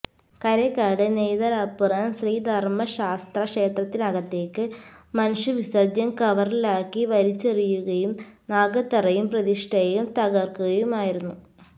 കരേക്കാട് നെയ്തലപ്പുറം ശ്രീധര്മ്മ ശാസ്താക്ഷേത്രത്തിനകത്തേക്ക് മനുഷ്യവിസര്ജ്യം കവറിലാക്കി വലിച്ചെറിയുകയും നാഗത്തറയും പ്രതിഷ്ഠയും തകര്ക്കുകയുമായിരുന്നു